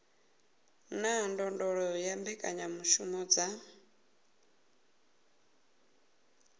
na ndondolo ya mbekanyamushumo dza